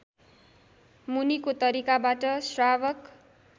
मुनिको तरिकाबाट श्रावक